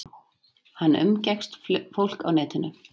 Hann umgekkst fólk á netinu.